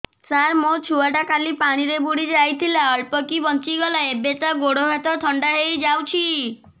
ସାର ମୋ ଛୁଆ ଟା କାଲି ପାଣି ରେ ବୁଡି ଯାଇଥିଲା ଅଳ୍ପ କି ବଞ୍ଚି ଗଲା ଏବେ ତା ଗୋଡ଼ ହାତ ଥଣ୍ଡା ହେଇଯାଉଛି